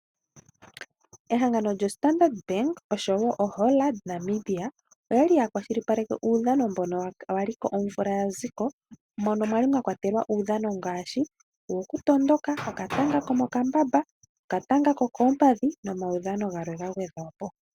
Ehangano lyo Standard bank noHollard Namibia okwali uya kwashilipaleke uudhano mbono waliko omvula yaziko mono mwali mwa kwatelwa uudhano ngaashi wokutondoka, okatanga komokambamba, okatanga kokompadhi nomaudhano galwe ga gwedhwapo.